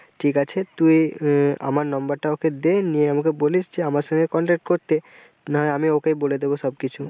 ঠিক আছে তুই আহ আমার number টা ওকে দে নিয়ে আমাকে বলিস যে আমার সঙ্গে contact করতে, না হয় আমি ওকে বলে দেবো সবকিছু।